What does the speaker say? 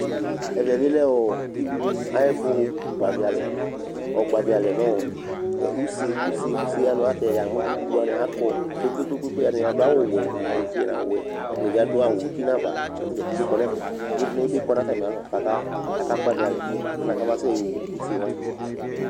ɛvɛ bi lɛ ɔɔɔ dziɖuɖu ayɛfu gbavi alɛ, ɔgbavi alɛ nu ɔɔ ɛ use use use ayɛlutɛ yamu dziɖuɖu wʋani akɔ kpekpekpe ata ni adu awu wɛ, awu fue nu awu wɛ, ɛdini bi adu awu uti nu ava kata dza pete kɔ nɛfɛ, ivli ni bi kɔ nu ata mi alɔ kaka gbavi alɛ alɛnɛ kamasɛ yɔ wu use wʋani